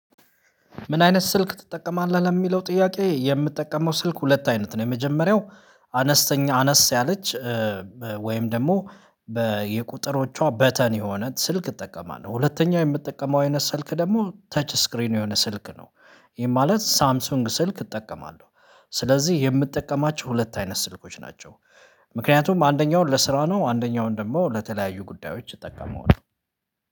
"ምን አይነት ስልክ ትጠቀማለህ?" ለሚለው ጥያቄ፤ የምጠቀመው ስልክ ሁለት አይነት ነው። የመጀመሪያው አነስተኛ አነስ ያለች ወይም ደግሞ በ የቁጥሮቿ በተን የሆነ ስልክ እጠቀማለሁ። ሁለተኛ የምጠቀመው አይነት ስልክ ደግሞ ተች ስክሪን የሆነ ስልክ ነው። ይሄ ማለት ሳምሰንግ ስልክ እጠቀማለሁ። ስለዚህ የምጠቀማቸው ሁለት አይነት ስልኮች ናቸው። ምክንያቱም አንደኛውን ለስራ ነው፤ አንደኛውን ደግሞ ለተለያዩ ጉዳዮች እጠቀመዋለሁ።